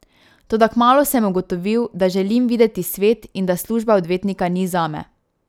Toda kmalu sem ugotovil, da želim videti svet in da služba odvetnika ni zame.